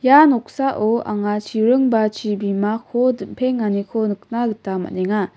ia noksao anga chiring ba chibimako dim·penganiko nikna gita man·enga.